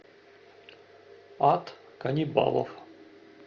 ад каннибалов